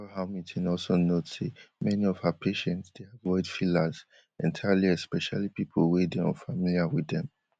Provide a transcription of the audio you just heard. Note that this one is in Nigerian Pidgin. hamilton also note say many of her patients dey avoid fillers entirely especially pipo wey dey unfamiliar wit dem